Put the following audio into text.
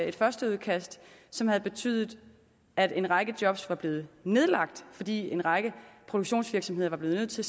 et førsteudkast som havde betydet at en række job var blevet nedlagt fordi en række produktionsvirksomheder var blevet nødt til